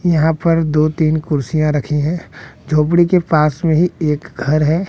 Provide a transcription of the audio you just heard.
यहां पर दो तीन कुर्सियां रखी हैं झोपड़ी के पास में ही एक घर है।